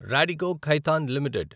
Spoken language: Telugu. రాడికో ఖైతాన్ లిమిటెడ్